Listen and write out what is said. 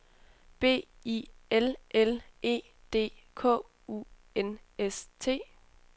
B I L L E D K U N S T